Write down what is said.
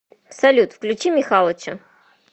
салют включи михалыча